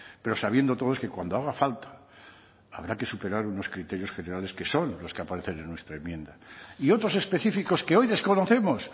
pero sabiendo todos que cuando haga falta habrá que superar unos criterios generales que son los que aparecen en nuestra enmienda y otros específicos que hoy desconocemos